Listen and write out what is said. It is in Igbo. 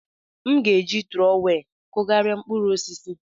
M ga-eji trowel kụgharịa mkpụrụ osisi.